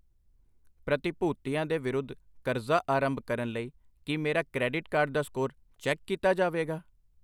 ਪ੍ਰਤੀਭੂਤੀਆਂ ਦੇ ਵਿਰੁੱਧ ਕਰਜ਼ਾ ਆਰੰਭ ਕਰਨ ਲਈ ਕਿ ਮੇਰਾ ਕਰੈਡਿਟ ਕਾਰਡ ਦਾ ਸਕੋਰ ਚੈੱਕ ਕੀਤਾ ਜਾਵੇਗਾ ?